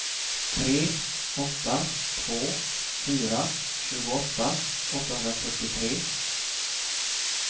tre åtta två fyra tjugoåtta åttahundrafyrtiotre